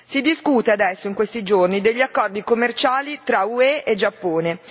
Si discute adesso, in questi giorni, degli accordi commerciali tra UE e Giappone.